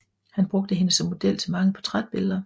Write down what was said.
Han brugte hende som model til mange portrætbilleder